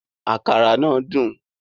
Àkàrà náà dùn